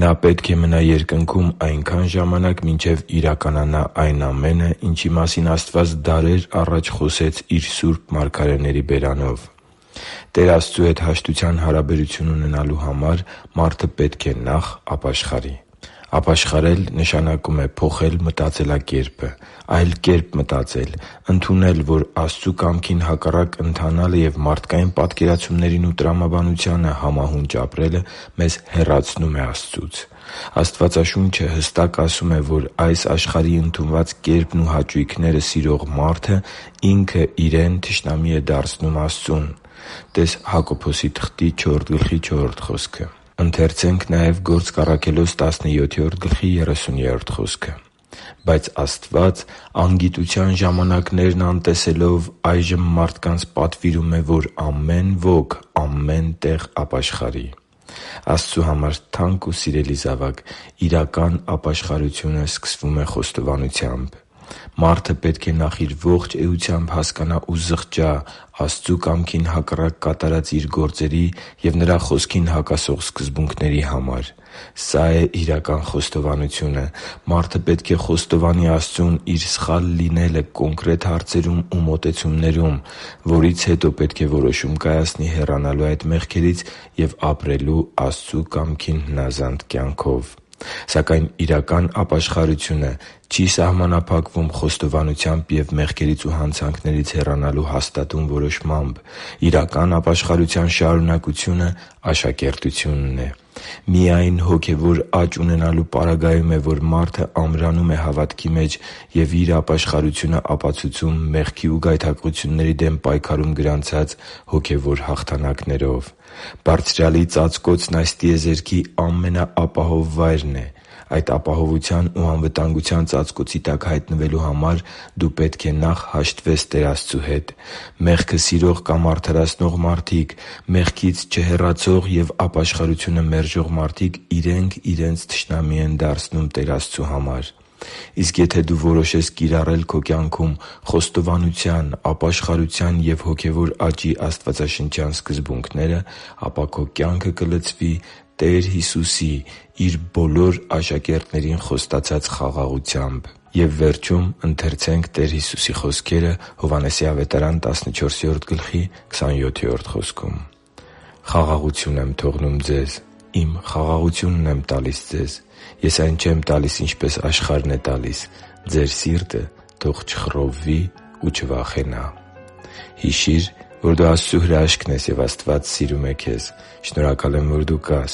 Նա պետք է մնա երկնքում այնքան ժամանակ, մինչև իրականանա այն ամենը, ինչի մասին Աստված դարեր առաջ խոսեց Իր սուրբ մարգարեների բերանով» (Գործք Առաքելոց 3․19-21): Տեր Աստծու հետ հաշտության հարաբերություն ունենալու համար մարդը պետք է նախ ապաշխարի։ Ապաշխարել նշանակում է փոխել մտածելակերպը, այլ կերպ մտածել, ընդունել, որ Աստծու կամքին հակառակ ընթանալը և մարդկային պատկերացումներին ու տրամաբանությանը համահունչ ապրելը մեզ հեռացնում է Աստծուց։ Աստվածաշունչը հստակ ասում է, որ այս աշխարհի ընդունված կերպն ու հաճույքները սիրող մարդը ինքն իրեն թշնամի է դարձնում Աստծուն (տե՛ս Հակոբոս 4.4 խոսքը)։ «Բայց Աստված, անգիտության ժամանակներն անտեսելով, այժմ մարդկանց պատվիրում է, որ ամեն ոք ամեն տեղ ապաշխարի» (Գործք Առաքելոց 17․30): Աստծու համար թանկ ու սիրելի՛ *|FNAME|*, իրական ապաշխարությունը սկսվում է խոստովանությամբ։ Մարդը պետք է նախ իր ողջ էությամբ հասկանա ու զղջա Աստծու կամքին հակառակ կատարած իր գործերի և Նրա Խոսքին հակասող սկզբունքների համար։ Սա՛ է իրական խոստովանությունը։ Մարդը պետք է խոստովանի Աստծուն իր սխալ լինելը կոնկրետ հարցերում ու մոտեցումներում, որից հետո պետք է որոշում կայացնի հեռանալու այդ մեղքերից և ապրելու Աստծու կամքին հնազանդ կյանքով։ Սակայն իրական ապաշխարությունը չի սահմանափակվում խոստովանությամբ և մեղքերից ու հանցանքներից հեռանալու հաստատուն որոշմամբ։ Իրական ապաշխարության շարունակությունը աշակերտությունն է։ Միայն հոգևոր աճ ունենալու պարագայում է, որ մարդն ամրանում է հավատքի մեջ և իր ապաշխարությունը ապացուցում մեղքի ու գայթակղությունների դեմ պայքարում գրանցած հոգևոր հաղթանակներով։ Բարձրյալի ծածկոցն այս տիեզերքի ամենաապահով վայրն է։ Այդ ապահովության ու անվտանգության ծածկոցի տակ հայտնվելու համար դու պետք է նախ հաշտվես Տեր Աստծու հետ։ Մեղքը սիրող կամ արդարացնող մարդիկ․․․, մեղքից չհեռացող և ապաշխարությունը մերժող մարդիկ իրենք իրենց թշնամի են դարձնում Տեր Աստծու համար։ Իսկ եթե դու որոշես կիրառել քո կյանքում խոստովանության, ապաշխարության և հոգևոր աճի աստվածաշնչյան սկզբունքները, ապա քո կյանքը կլցվի Տեր Հիսուսի՝ Իր բոլոր աշակերտներին խոստացած խաղաղությամբ։ «Խաղաղություն եմ թողնում ձեզ, Իմ խաղաղությունն եմ տալիս ձեզ. Ես այն ձեզ չեմ տալիս, ինչպես աշխարհն է տալիս. ձեր սիրտը թող չխռովվի ու չվախենա» (Հովհաննես 14․27): Հիշի՛ր, որ դու Աստծո հրաշքն ես, և Աստված սիրում է քեզ։ Շնորհակալ եմ, որ դու կա՛ս